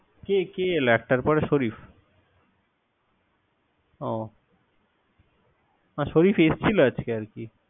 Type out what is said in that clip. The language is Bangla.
কি কি এলো একটার পরে শরিফ ও আর শরিফ এসেছিল আরকি।